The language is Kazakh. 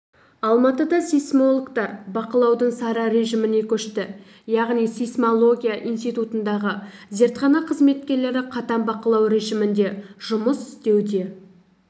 алматыда сейсмологтар бақылаудың сары режіміне көшті яғни сейсмология институтындағы зертхана қызметкерлері қатаң бақылау режімінде жұмыс істеуде